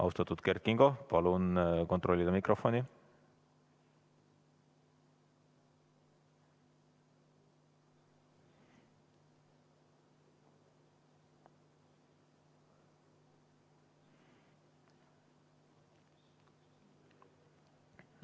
Austatud Kert Kingo, palun kontrollige mikrofoni!